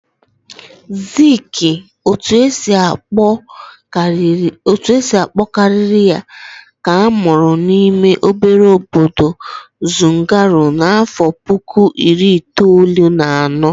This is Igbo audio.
Ziiki, otu esi akpọ karị ya, ka amụrụ n'ime obere obodo Zungeru n'afọ puku iri itoolu na anọ.